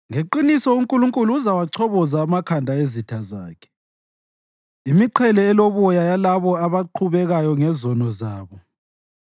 Ngeqiniso uNkulunkulu uzawachoboza amakhanda ezitha zakhe, imiqhele eloboya yalabo abaqhubekayo ngezono zabo.